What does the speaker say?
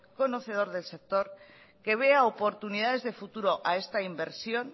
conocedor del sector que vea oportunidades de futuro a esta inversión